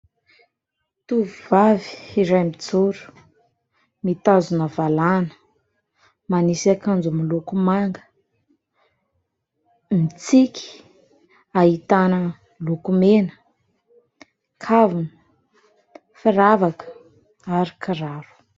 Tovovavy iray mijoro mitazona valahana, manisy akanjo miloko manga, mitsiky, ahitana lokomena, kavina, firavaka ary kiraro.